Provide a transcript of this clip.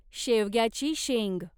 शेवग्याची शेंग